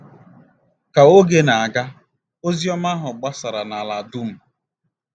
Ka oge na-aga, ozi ọma ahụ gbasara nala dum.